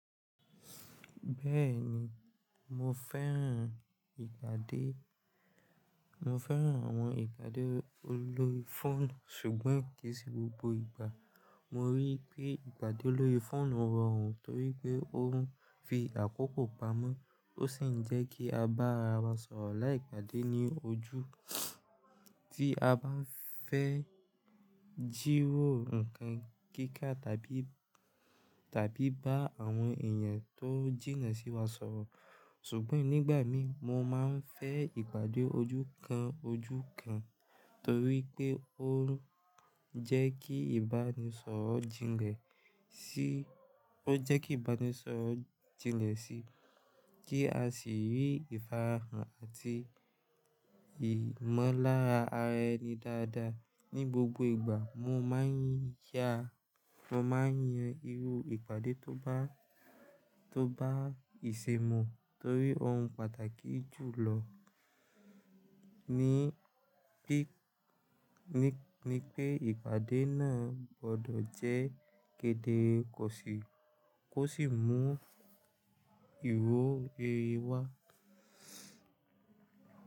Bẹ́ẹ̀ni, mo fẹ́ràn ìpàdé, mo fẹ́ràn àwọn ìpàdé olórí fóònù sùgbọ́n kì í sí gbogbo ìgbà. Mo ríi pé ìpàdé olórí fóònù rọrùn torí pé ó ń fi àkókò pamọ́, ó sì ń jẹ́ kí a bá ara wa sọ̀rọ̀ láì ìpàdé ní ojú, tí a bá fẹ́ jídò nǹkan kíkà tàbí, tàbí bá àwọn èèyàn tó jìnnà sí wa sọ̀rọ̀. Ṣùgbọ́n nígbà mi mo máa ń fẹ́ ìpàdé ojú kan ojú kan torí pé ó ń jẹ́ kí ìbánisọ̀rọ̀ jìnlẹ̀ sí, ó jẹ́ kí ìbánisọ̀rọ̀ jìnlẹ̀ sí, kí a sì rí ìfarahàn àti ìmọ̀lára ara ẹni dáadáa. Ni gbogbo ìgbà mo máa ń ya, mo máa ń yan irú ìpàdé tó bá, tó bá ìṣèmọ̀ torí ó ń pàtàkì jù lọ, ní pé, ní pé ìpàdé náà gbọdọ̀ jẹ́ kedere kó sì, kó sì mú ìwọlé wá.